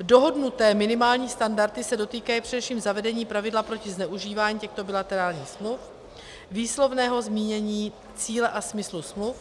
Dohodnuté minimální standardy se dotýkají především zavedení pravidla proti zneužívání těchto bilaterálních smluv, výslovného zmínění cíle a smyslu smluv,